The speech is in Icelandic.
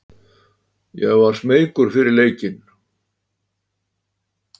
Ég var smeykur fyrir leikinn.